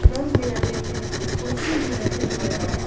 रंग बिरंगे के कुर्सी भी रखे हुए हैं।